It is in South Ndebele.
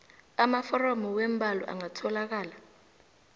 amaforomo weembawo angatholakala